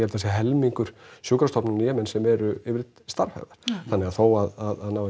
það sé helmingur sjúkrastofnana í Jemen sem eru yfirleitt starfhæfar þannig að þó að náist